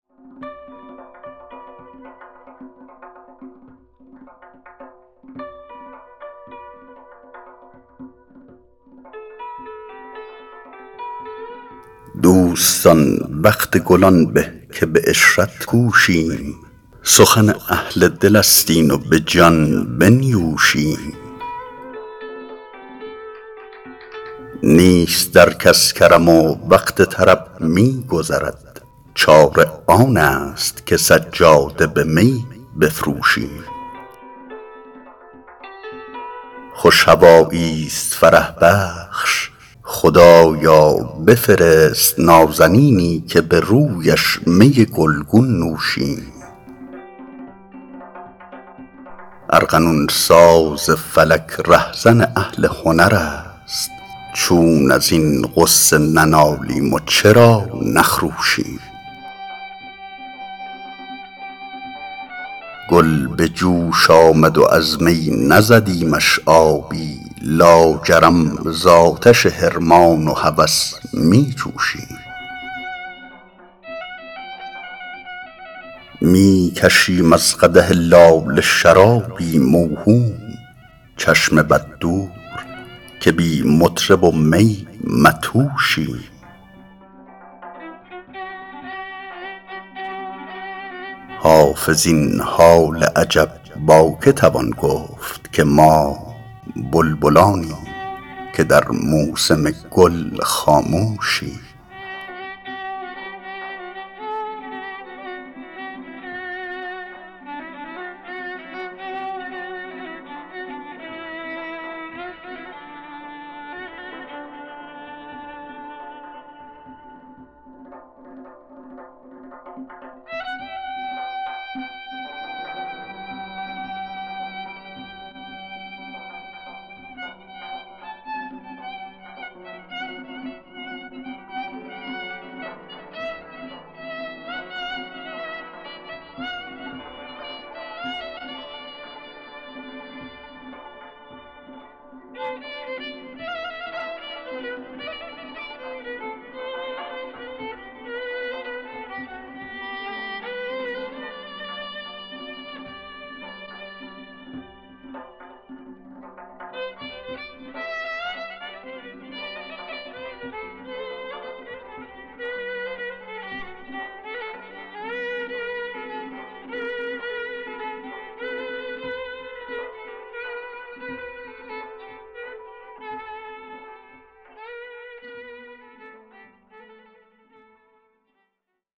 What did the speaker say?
دوستان وقت گل آن به که به عشرت کوشیم سخن اهل دل است این و به جان بنیوشیم نیست در کس کرم و وقت طرب می گذرد چاره آن است که سجاده به می بفروشیم خوش هوایی ست فرح بخش خدایا بفرست نازنینی که به رویش می گل گون نوشیم ارغنون ساز فلک ره زن اهل هنر است چون از این غصه ننالیم و چرا نخروشیم گل به جوش آمد و از می نزدیمش آبی لاجرم زآتش حرمان و هوس می جوشیم می کشیم از قدح لاله شرابی موهوم چشم بد دور که بی مطرب و می مدهوشیم حافظ این حال عجب با که توان گفت که ما بلبلانیم که در موسم گل خاموشیم